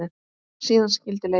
Síðan skildi leiðir.